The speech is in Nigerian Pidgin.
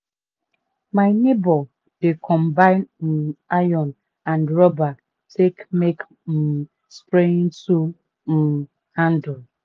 my neibor dey combine um iron and rubber take make um spraying tool um handle.